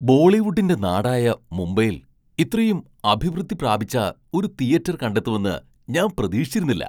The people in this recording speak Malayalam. ബോളിവുഡിന്റെ നാടായ മുംബൈയിൽ ഇത്രയും അഭിവൃദ്ധി പ്രാപിച്ച ഒരു തിയറ്റർ കണ്ടെത്തുമെന്ന് ഞാൻ പ്രതീക്ഷിച്ചിരുന്നില്ല.